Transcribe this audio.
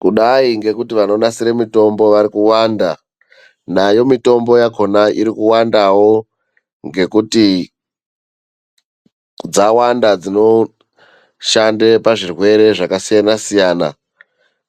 Kudayi ngekuti vanonasira mitombo vari kuwanda, nayo mitombo yakona iri kuwandawo ngekuti dzawanda dzinoshande pazvirwere zvakasiyanasiyana,